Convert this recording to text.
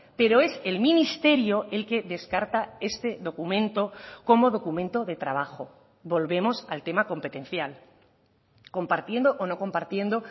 pero es el ministerio el que descarta este documento como documento de trabajo volvemos al tema competencial compartiendo o no compartiendo